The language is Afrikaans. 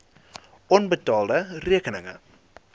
onbetaalde rekeninge